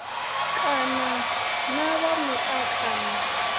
kana na vha muta kana